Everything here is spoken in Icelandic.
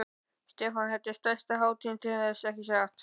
Stefán: Þetta er stærsta hátíðin til þessa, ekki satt?